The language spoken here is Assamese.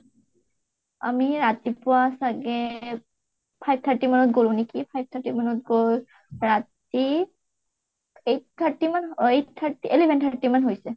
আমি ৰাতিপুৱা চাগে five thirty মানত গʼলো নেকি, five thirty মানত গৈ ৰাতি eight thirty মান eight thirty eleven thirty মান হৈছে ।